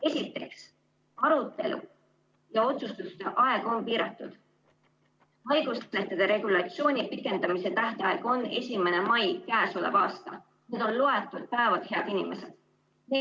Esiteks, arutelu ja otsustuste aeg on piiratud, haiguslehtede regulatsiooni pikendamise tähtaeg on 1. mai k.a. Need on loetud päevad, head inimesed!